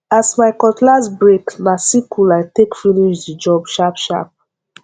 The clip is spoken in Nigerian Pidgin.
as my cutlass break na sickle i take finish the job sharpsharp